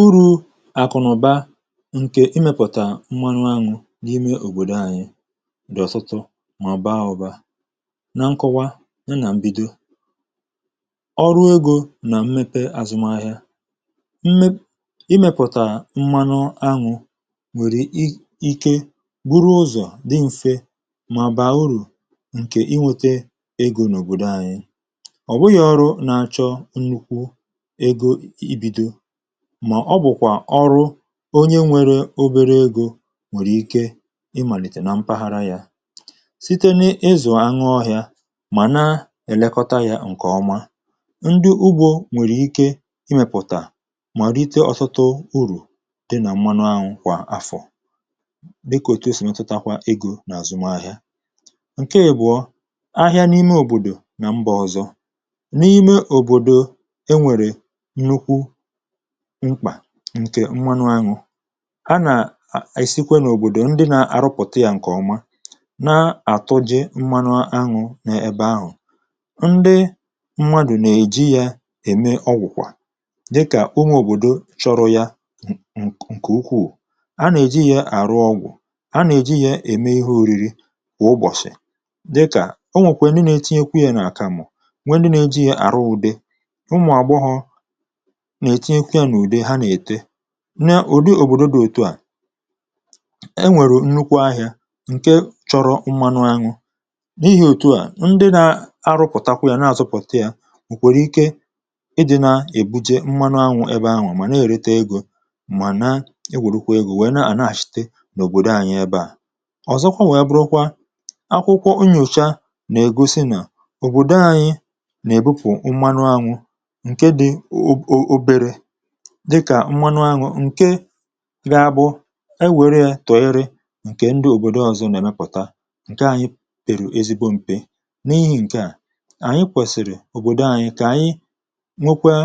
Uru̇ àkụnụ̀ba nke imepụ̀tà m̀manụ aṅụ n’ime òbòdo anyị̇ dị̀ ọ̀tụtụ mà obaa ụ̀ba. Na nkọwa ya na mbido ọrụ egȯ nà mmepe àzụmahịa mėpụ̀tà imėpụ̀tà m̀manụ aṅụ nwèrè ike buru ụzọ̀ dị m̀fe mà bàa urù ǹkè inwėtė egȯ n’òbòdo anyị̇. Ọ bụghị ọrụ na-achọ nnukwu ego ibido mà ọ bụ̀kwà ọrụ onye nwere obere egȯ nwèrè ike ịmàlìtè nà mpaghara yȧ. Site n’ịzụ̀ aṅụ ọhị̇ȧ mà na-elekọta yȧ ǹkè ọma ndị ugbȯ nwèrè ike imèpụ̀tà mà rite ọtụtụ urù dị nà mmanụ aṅụ kwà afọ̀ dị kà òtu esì metụtakwa egȯ nà àzụm ahịa. Ǹke ịbụ̀ọ, ahịa n’ime òbòdò nà mbà ọzọ. N’ime òbòdò enwere nnukwu mkpà ǹkè mmanụ aṅụ ha nà esikwe nà òbòdò ndị nà-àrụpụ̀ta ya ǹkè ọma na-àtụ je mmanụ aṅụ̇ n’ebe ahụ̀, ndị mmadụ̀ nà-èji yȧ ème ọgwụ̀kwà dịkà onye òbòdo chọrọ ya ǹkè ukwù a nà-èji yȧ àrụ ọgwụ̀, a nà-èji yȧ ème ihe oriri kwà ụbọ̀shị̀ dịkà o nwèkwè ndị na-etinyekwu yȧ n’àkàmụ̀, nwe ndị na-eji yȧ àrụ ụ̇de, ụmụ̀ àgbọghọ na-etinyekwa ya n'ude ha na-ete. Nà ùdi òbòdo dị̇ òtù à enwèrè nnukwu ahị̇ȧ ǹke chọrọ mmanụ aṅụ, n’ihì òtù à ndị na arụ̇pụ̀takwa yȧ na-àzụ pụ̀ta yȧ ọ̀ kwèrè ike ịdị̇ nà-èbuje mmanụ aṅụ ebe ahụ̀ mà na-èrete egȯ mà na-enweru kwà egȯ wèe na-ànàha shìte n’òbòdò ànyị ebe à. Ọ̀zọkwa wèe bụrụkwa, akwụkwọ nyocha nà-ègosi nà òbòdo anyị nà-èbupụ̀ mmanụ̀ anụ nke di obere, dịkà mmanụ aṅụ ǹke ga bụ ewère tònyere ǹkè ndị òbòdo ọzọ nà-èmepụ̀ta, ǹke ànyị pèrù ezigbo m̀pe. N’ihi ǹke à ànyị kwèsìrì òbòdo ànyị kà ànyị nwekwaa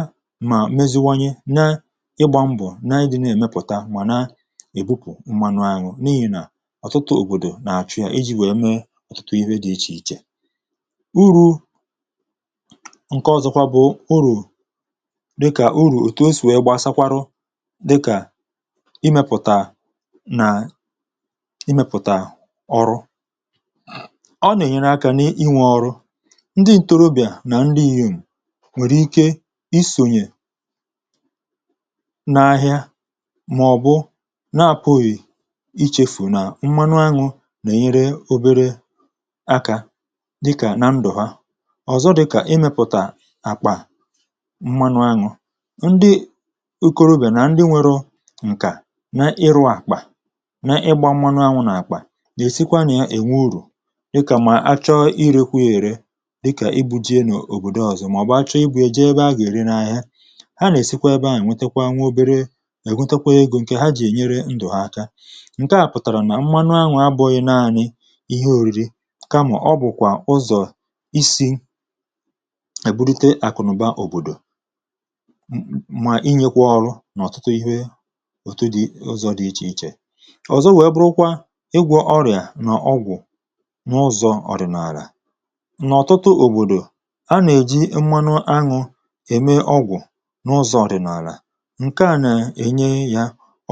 mà meziwanye na-ịgbȧ mbọ̀ na idị̇ na-èmepụ̀ta ma na-èbupụ̀ mmanụ aṅụ n’ihi nà ọ̀tụtụ òbòdò nà-àchụ ya iji̇ wèe mee ọ̀tụtụ ihe dị ichè ichè. Urù ǹke ọ̀zọkwa bụ̀ urù dịkà uru otu osi wegbasakwarụ dika imėpụ̀tà nà imėpụ̀tà ọrụ. Ọ̀ nà-ènyere akȧ n’inwė ọrụ. Ndị ǹtorobịà nà nrihiù nwèrè ike isònyè n’ahịa màọ̀bụ na-apụ̀ghị̀ ichefù nà mmanụ aṅụ̇ nà-ènyere obere akȧ dịkà nà ndụ̀ ha. Ọ̀zọ dịkà imėpụ̀tà àkpà mmanụ aṅụ̇. Ndị ikȯrobia nà ndị nwėre ǹkà na ịrụ̇ àkpà na ịgbȧ mmanụ aṅụ̇ nà àkpà èsikwa nà ènwe urù dịkà mà achọ irėkwu ya ère dịkà ibu̇ je n’òbòdò ọzọ màọ̀bụ̀ achọ ibu̇ ya je ebe a gà ère na ahịa. Ha nà èsikwa ebe a nà èwetekwa nwa obere èwetekwa egȯ ǹkè ha jì ènyere ndụ̀ ha aka ǹke à pụ̀tàrà nà mmanụ aṅụ̇ abụghị naanị ihe òriri kama ọ bụ̀kwà ụzọ̀ isi̇ eburite àkụ̀nụ̀ba òbòdò ma a a inyekwa oru n’ọ̀tụtụ ihe òtu dị̇ ụzọ̇ dị ichè ichè. Ọ̀zọ wee bụrụkwa ịgwọ̇ ọrịà nà ọgwụ̀ n’ụzọ̇ ọ̀dị̀nàlà. Nà ọ̀tụtụ òbòdò, anà-èji mmanụ aṅụ̇ ème ọgwụ̀ n’ụzọ̇ ọ̀dị̀nàlà, ǹke à nà-ènye ya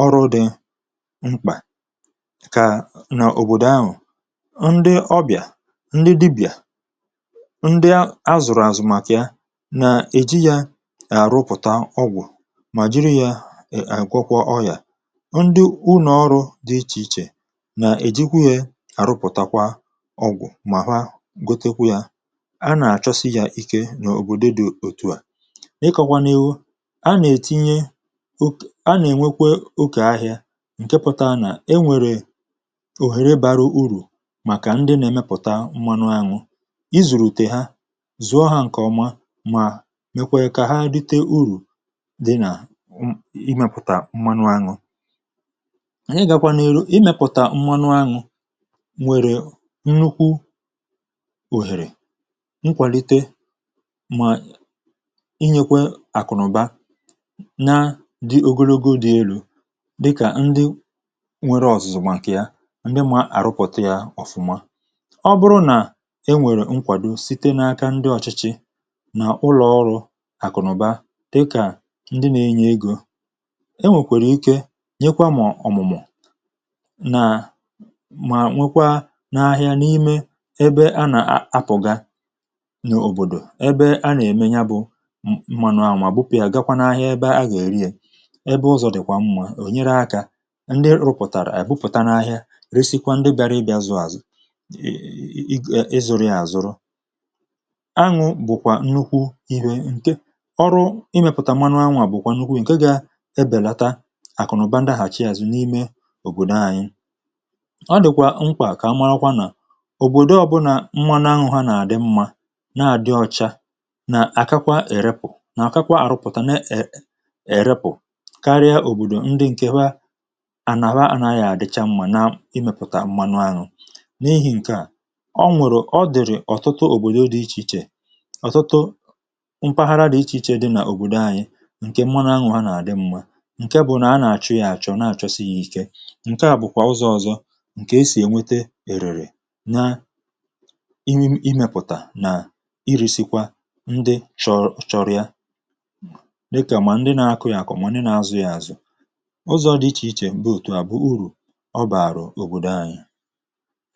ọrụ dị mkpà kà nà òbòdò ahụ̀. Ndị ọbịà, ndị dibịà, ndị azụ̀rụ̀ àzụ̀ màkà ya na-èji ya arụpụta ọgwụ̀ mà jiri yȧ àgwọkwa ọyà. Ndị unọ ọrụ̇ dị ichè ichè nà èjikwa yȧ àrụpụ̀takwa ọgwụ̀ mà ha gotekwu yȧ, a nà-àchọsi yȧ ike n’òbòdo dị̇ òtu à. Ịkọ̇kwȧ n’iru, a nà-ètinye a nà-ènwekwa okė ahịȧ ǹke pụta nà enwèrè òhèrè bara urù màkà ndị nà-èmepụ̀ta mmanụ aṅụ, i zùrù ùte ha zụọ ha ǹkè ọma mà mekwe kà ha rịtė urù di na imėpụ̀tà mmanụ aṅụ̇. Na igakwa n'iru, imėpụ̀tà mmanụ aṅụ̇ nwèrè nnukwu òhèrè nkwàlite mà inyėkwe àkụ̀nụ̀ba na dị ogologo dị elu̇, dịkà ndị nwere ọ̀zụ̀zụ̀ makà ya ndị mà àrụpụ̀ta ya ọ̀fụma. Ọ bụrụ nà e nwèrè nkwàdo site n’aka ndị ọ̀chịchị nà ụlọọrụ̇ àkụ̀nụ̀ba dika ndi na-enye ego, e nwèkwèrè ike nyekwa mọ̀ ọ̀mụ̀mụ̀ mà nwekwaa n’ahịa n’ime ebe a nà-apụ̀ga n’òbòdò ebe a nà-ème ya e bụ̇ mmanụ àmà bupù ya gakwa n’ahịa ebe a gà-èriė ebe ụzọ̀ dịkwà mmȧ ò nyere akȧ ndị rụpụ̀ta ebuputa n’ahịa resikwa ndị bịara ịbịa zụ̀ azụ̀ ịzụ̀rụ ya àzụrụ. Aṅụ̇ bụ̀kwà nnukwu ihe ǹke oru imeputa mmanụ aṅụ̇ bụkwa nnukwu ihe nke ga ebelata àkụnaụba ndahàchi àzụ n’ime òbòdò ànyị. Ọ dị̀kwà mkpà kà marakwa nà òbòdo ọbụna mmanụ aṅụ̇ nà-àdị mmȧ na-àdị ọcha nà-àkakwa erepù nà àkakwa àrụpụ̀tà ne è erepù karịa òbòdò ndị ǹke ha ànaha ànaghị àdịcha mmȧ na imèpụ̀tà mmanụ ànụ. N’ihi ǹke a, o nwèrè ọ dị̀rị̀ ọ̀tụtụ òbòdo dị̇ ichè ichè ọ̀tụtụ mpaghara dị̇ ichè ichè dị nà òbòdo ànyị ǹke mmanụ aṅụ̇ ha na adi mma nke bụ̀ nà a nà-àchọ ya àchọ nà àchọsịghị ike, Ǹke à bụ̀kwà ụzọ̇ ọzọ ǹkè e sì ènwete èrèrè na imi imėpụ̀tà nà iresikwa ndị chọrọ̇ ya dịkà mà ndị na-akụ ya akọ̀ ma ndị nà azụ̀ ya àzụ. Uzọ̇ dị ichè ichè di òtù à bụ urù ọ bààrụ̀ òbòdò anyị